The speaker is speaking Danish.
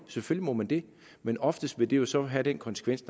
selvfølgelig må man det men oftest vil det jo så have den konsekvens